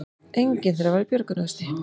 Enginn þeirra var í björgunarvesti